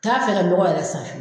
T'a fɛ ka dɔgɔ yɛrɛ san fiyewu